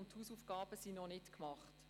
Die Hausaufgaben sind noch nicht gemacht.